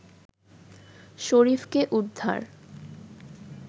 শরীফকে উদ্ধার